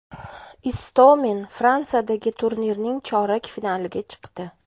Istomin Fransiyadagi turnirning chorak finaliga chiqdi.